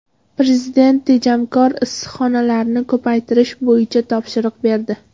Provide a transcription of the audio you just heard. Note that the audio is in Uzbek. Prezident tejamkor issiqxonalarni ko‘paytirish bo‘yicha topshiriq berdi.